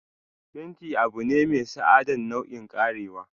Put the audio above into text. fenti abune mai sa'adan nau'i kerawa.